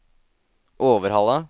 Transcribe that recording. Overhalla